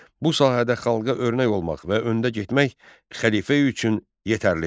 Bu sahədə xalqa örnək olmaq və öndə getmək xəlifə üçün yetərlidir.